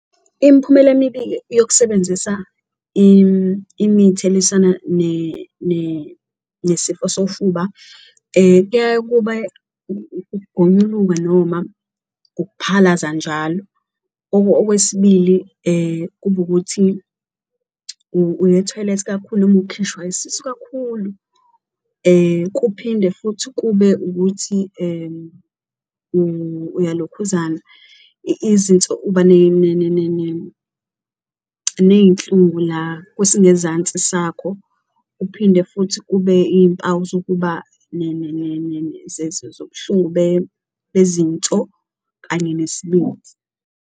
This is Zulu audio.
Imiphumela emibi-ke yokusebenzisa imithi elwisana nesifo sofuba kuyaye ukube ukugonyuluka noma ukuphalaza njalo. Okwesibili, kube ukuthi uya ethoyilethi kakhulu noma ukhishwa isisu kakhulu kuphinde futhi kube ukuthi uyilokhuzana Izinso uba ney'nhlungu la kwesingezansi sakho, kuphinde futhi kube iy'mpawu zokuba zobuhlungu bezinsizo kanye nesibindi.